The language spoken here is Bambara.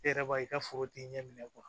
E yɛrɛ b'a i ka foro ti ɲɛ